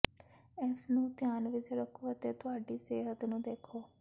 ਇਸ ਨੂੰ ਧਿਆਨ ਵਿੱਚ ਰੱਖੋ ਅਤੇ ਤੁਹਾਡੀ ਸਿਹਤ ਨੂੰ ਦੇਖੋ